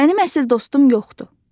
Mənim əsl dostum yoxdur.